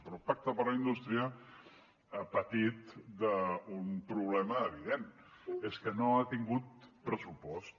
però el pacte per la indústria ha patit d’un problema evident que és que no ha tingut pressupost